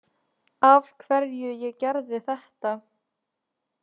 Af hverju ég gerði þetta.